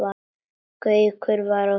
Gaukur var á þönum.